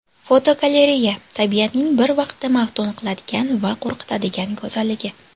Fotogalereya: Tabiatning bir vaqtda maftun qiladigan va qo‘rqitadigan go‘zalligi.